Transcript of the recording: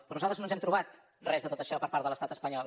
però nosaltres no ens hem trobat res de tot això per part de l’estat espanyol